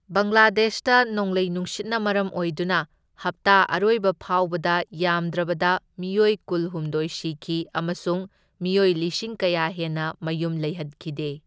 ꯕꯪꯒ꯭ꯂꯥꯗꯦꯁꯇ ꯅꯣꯡꯂꯩ ꯅꯨꯡꯁꯤꯠꯅ ꯃꯔꯝ ꯑꯣꯏꯗꯨꯅ ꯍꯞꯇꯥ ꯑꯔꯣꯏꯕꯐꯥꯎꯕꯗ ꯌꯥꯝꯗ꯭ꯔꯕꯗ ꯃꯤꯑꯣꯏ ꯀꯨꯜꯍꯨꯝꯗꯣꯢ ꯁꯤꯈꯤ ꯑꯃꯁꯨꯡ ꯃꯤꯑꯣꯏ ꯂꯤꯁꯤꯡ ꯀꯌꯥ ꯍꯦꯟꯅ ꯃꯌꯨꯝ ꯂꯩꯍꯟꯈꯤꯗꯦ꯫